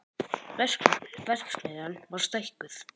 Verksmiðjan var stækkuð